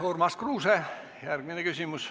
Urmas Kruuse, järgmine küsimus.